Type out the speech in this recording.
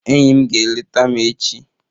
Enyi m ga-eleta m echi